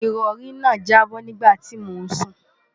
ìrọ̀rí náà jábọ́ nígbà tí mò ń sùn